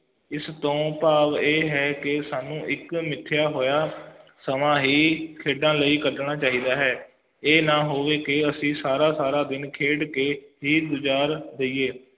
ਇਸ ਤੋਂ ਭਾਵ ਇਹ ਹੈ ਕਿ ਸਾਨੂੰ ਇਕ ਮਿਥਿਆ ਹੋਇਆ ਸਮਾਂ ਹੀ ਖੇਡਾਂ ਲਈ ਕੱਢਣਾ ਚਾਹੀਦਾ ਹੈ ਜੇ ਨਾ ਹੋਵੇ ਫੇਰ ਅਸੀਂ ਸਾਰਾ ਸਾਰਾ ਦਿਨ ਖੇਡ ਕੇ ਹੀ ਗੁਜ਼ਾਰ ਦਈਏ